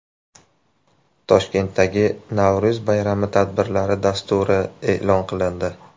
Toshkentdagi Navro‘z bayrami tadbirlari dasturi e’lon qilindi.